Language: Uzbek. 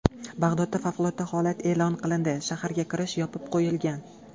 Bag‘dodda favqulodda holat e’lon qilindi, shaharga kirish yopib qo‘yilgan.